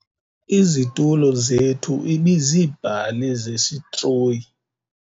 Izitulo zethu ibiziibhali zesitroyi.